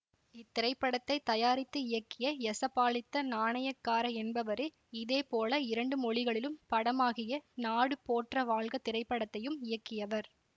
இத்திரைப்படத்தை தயாரித்து இயக்கிய யசபாலித்த நாணயக்கார என்பவரே இதே போல இரண்டு மொழிகளிலும் படமாகிய நாடு போற்ற வாழ்க திரைப்படத்தையும் இயக்கியவர்